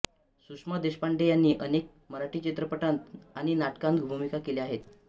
सुषमा देशपांडे यांनी अनेक मराठी चित्रपटांत आणि नाटकांत भूमिका केल्या आहेत